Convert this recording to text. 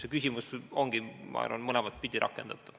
See küsimus ongi, ma arvan, mõlemat pidi rakendatav.